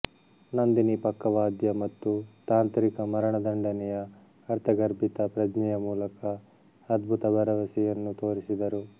ನಂದಿನಿ ಪಕ್ಕವಾದ್ಯ ಮತ್ತು ತಾಂತ್ರಿಕ ಮರಣದಂಡನೆಯ ಅರ್ಥಗರ್ಭಿತ ಪ್ರಜ್ಞೆಯ ಮೂಲಕ ಅದ್ಭುತ ಭರವಸೆಯನ್ನು ತೋರಿಸಿದರು